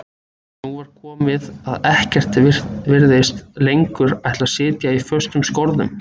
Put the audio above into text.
En nú var svo komið að ekkert virtist lengur ætla að sitja í föstum skorðum.